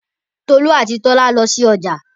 Tolú àti Tọ́lá lọ sí ọjà